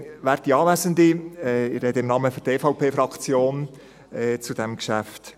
Ich spreche im Namen der EVP-Fraktion zu diesem Geschäft.